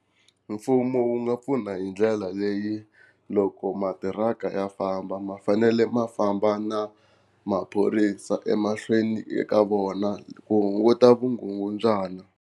Mfumo wu nga pfuna hi ndlela leyi loko matiraka ma famba ma fanele ma famba na maphorisa emahlweni ka vona ku hunguta vukungundzwana.